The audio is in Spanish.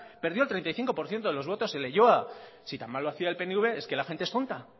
perdió el treinta y cinco por ciento de los botos en leioa si tan mal lo hacía el pnv es que la gente es tonta